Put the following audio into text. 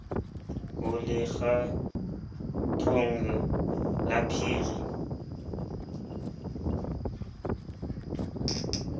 o le kgethong ya sapphire